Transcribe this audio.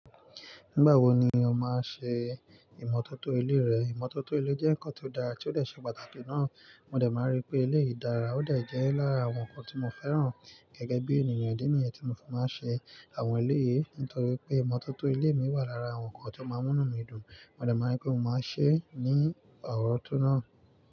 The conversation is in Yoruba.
Nígbà wo ni o máa n ṣe ìmọ́tótó ilé rẹ? Ìmọ́tótó ilé jẹ́ nǹkan tó dára, tí ó dẹ̀ ṣe pàtàkì ná. Mo dẹ̀ máa n rí pé eleyìí dára, ó dẹ̀ jẹ́ lára àwọn nǹkan tí mo fẹ́ràn gẹ́gẹ́ bí ènìyàn, idi nìyẹn tí mo fi máa n ṣe àwọn ilé yìí. Nítorí pé ìmọ́tótó ilé mi wà lára àwọn nǹkan tí ó máa ń mú inu mí dùn, mo dẹ̀ máa n rí pé mo máa ṣe é ní àárọ̀ tó náà.